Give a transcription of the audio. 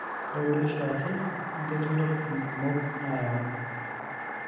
ore duo oshiake naa ketii intokitin kumok naayau